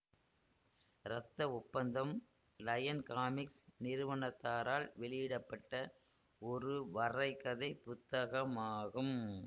இரத்த ஒப்பந்தம் Lion Comics நிறுவனத்தாரால் வெளியிட பட்ட ஒரு வரைகதை புத்தகமாகும்